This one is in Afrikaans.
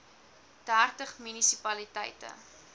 dertig munisi paliteite